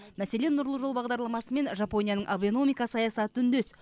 мәселен нұрлы жол бағдарламасы мен жапонияның абэномика саясаты үндес